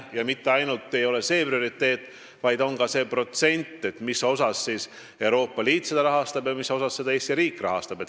Ja mitte ainult see, vaid oluline on ka see protsent, mis osas seda rahastab Euroopa Liit ja mis osas Eesti riik.